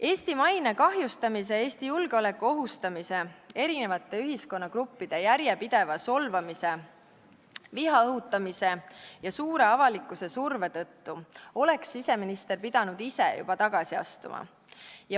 " Eesti maine kahjustamise, Eesti julgeoleku ohustamise, eri ühiskonnagruppide järjepideva solvamise, viha õhutamise ja avalikkuse suure surve tõttu oleks siseminister pidanud juba ise tagasi astuma.